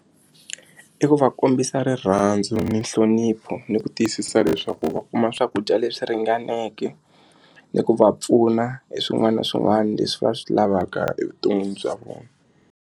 I ku va kombisa rirhandzu ni nhlonipho ni ku tiyisisa leswaku va kuma swakudya leswi ringaneke ni ku va pfuna hi swin'wana na swin'wana leswi va swi lavaka evuton'wini bya vona.